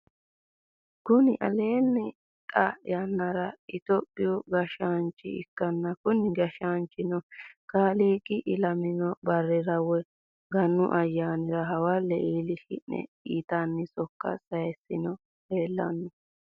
kuni lelanohi xaa yanara ethiopiu gashshnicho ikana kuni gashshanichino kailiq ilamino barrira woy ganu ayanira hawale ilshshinino yatene sokka sayisani lelano.